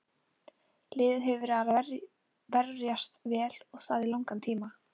Liðið hefur verið að verjast vel og það í langan tíma.